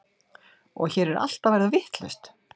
Og hér er allt að verða vitlaust.